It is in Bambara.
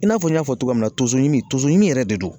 I n'a fɔ n y'a fɔ cogoya min na tonsomin tonson yɛrɛ de don